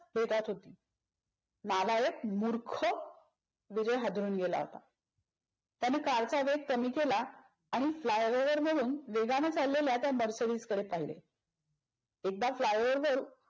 बेतात होती. नालायक, मूर्ख. विजय हादरून गेला होता. त्याने कार चा वेग कमी केला आणि fly-over वरून वेगान चाललेल्या त्या मर्सिडिज कडे पहिले. एकदा fly-over वर